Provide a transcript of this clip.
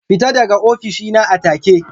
Fita daga ofishi na a take!